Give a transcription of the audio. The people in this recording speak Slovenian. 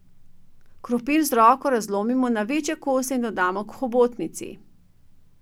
Krompir z roko razlomimo na večje kose in dodamo k hobotnici.